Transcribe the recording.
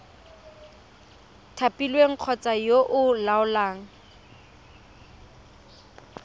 thapilweng kgotsa yo o laolang